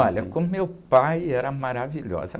Olha, com meu pai era maravilhosa.